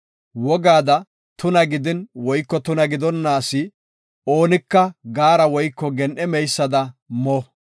Wogaada tuna gidin woyko tuna gidonna asi oonika gaara woyko gen7e meysada mo.